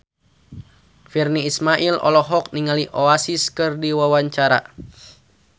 Virnie Ismail olohok ningali Oasis keur diwawancara